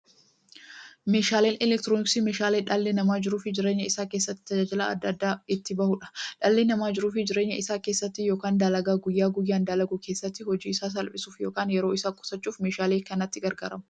Meeshaaleen elektirooniksii meeshaalee dhalli namaa jiruuf jireenya isaa keessatti, tajaajila adda addaa itti bahuudha. Dhalli namaa jiruuf jireenya isaa keessatti yookiin dalagaa guyyaa guyyaan dalagu keessatti, hojii isaa salphisuuf yookiin yeroo isaa qusachuuf meeshaalee kanatti gargaarama.